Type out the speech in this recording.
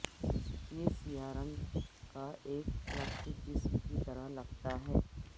یہ سیاہ رنگ کا ایک پلاسٹک جسم کی طرح لگتا ہے